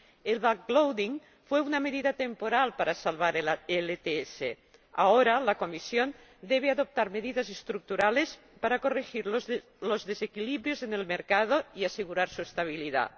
El backloading fue una medida temporal para salvar el ETS. Ahora, la Comisión debe adoptar medidas estructurales para corregir los desequilibrios en el mercado y asegurar su estabilidad.